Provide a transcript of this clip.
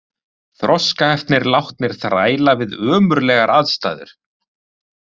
Þroskaheftir látnir þræla við ömurlegar aðstæður